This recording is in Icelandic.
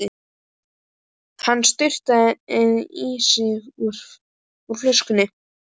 Hann sturtaði í sig úr flöskunni.